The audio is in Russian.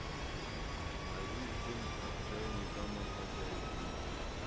найди фильм отчаянные домохозяйки